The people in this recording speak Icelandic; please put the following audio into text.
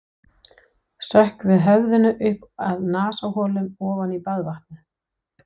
Sökkvi höfðinu upp að nasaholum ofan í baðvatnið.